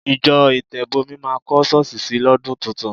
Ìjọ Ìtẹ̀bọmi máa kọ́ ṣọ́ọ̀ṣì sì lọ́dún tuntun.